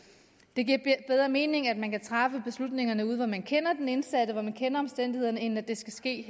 det giver bedre mening at man kan træffe beslutningerne ude hvor man kender den indsatte og hvor man kender omstændighederne end at det skal ske